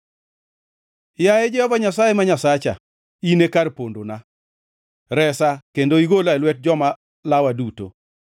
Yaye Jehova Nyasaye ma Nyasacha, in e kar pondona; Resa kendo igola e lwet joma lawa duto,